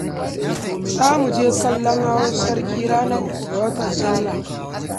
Za mu je kallon hawan sarki ranar uku ga watan Sallah